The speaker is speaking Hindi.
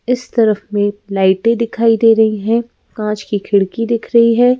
इस तरफ में लाइटें दिखाई दे रही हैं कांच की खिड़की दिख रही है।